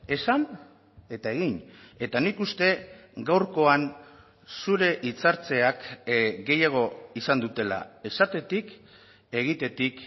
esan eta egin eta nik uste gaurkoan zure hitz hartzeak gehiago izan dutela esatetik egitetik